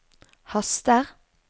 haster